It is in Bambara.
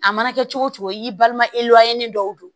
A mana kɛ cogo cogo i balima e dɔw don